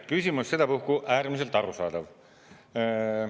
Küsimus sedapuhku äärmiselt arusaadav.